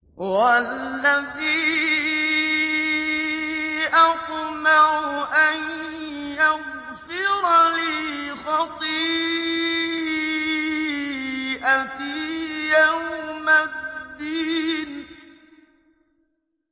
وَالَّذِي أَطْمَعُ أَن يَغْفِرَ لِي خَطِيئَتِي يَوْمَ الدِّينِ